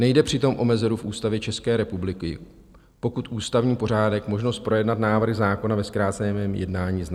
Nejde přitom o mezeru v Ústavě České republiky, pokud ústavní pořádek možnost projednat návrh zákona ve zkráceném jednání zná.